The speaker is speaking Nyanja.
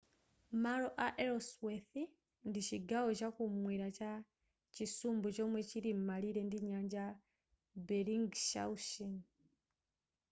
malo a ellsworth ndi chigawo chakumwera cha chisumbu chomwe chilim'malire ndi nyanja ya bellingshausen